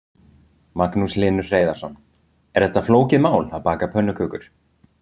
Magnús Hlynur Hreiðarsson: Er þetta flókið mál, að baka pönnukökur?